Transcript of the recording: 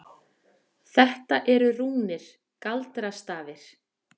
Þetta eru rúnir. galdrastafir.